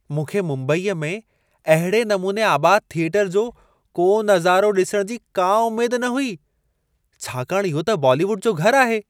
मूंखे मुंबईअ में अहिड़े नमूने आबाद थिएटर जो को नज़ारो ॾिसणु जी का उमेद न हुई, छाकाणि इहो त बॉलीवुड जो घरु आहे।